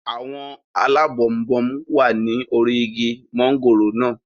Àwọn alábọnbon wà ní orí igi mọ́ngòrò naa